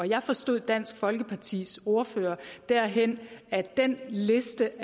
jeg forstod dansk folkepartis ordfører derhen at den liste